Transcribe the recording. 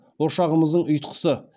ошағымыздың ұйтқысы